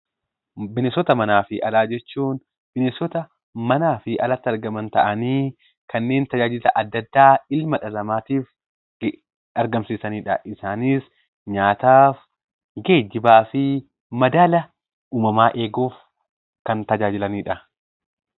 Bineensota manaa fi alaa jechuun bineensota manaa fi alatti argaman ta'anii kanneen tajaajila adda addaa ilma dhala namaatiif argamsiisanii dha. Isaanis nyaataaf, geejjibaa fi madaala uumamaa eeguuf kan tajaajilanii dha.